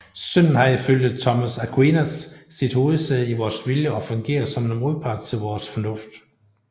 Synden har ifølge Thomas Aquinas sit hovedsæde i vores vilje og fungerer som en modpart til vores fornuft